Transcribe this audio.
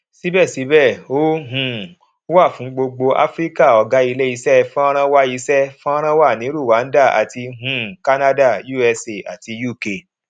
síbẹsíbẹ ó um wà fún gbogbo áfíríkà ọgá ilé iṣẹ fọnrán wà iṣẹ fọnrán wà ní rwanda àti um canada usa àti uk